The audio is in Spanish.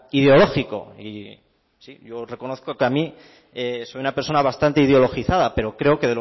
ideológico y sí yo reconozco que a mí soy una persona bastante ideologizada pero creo que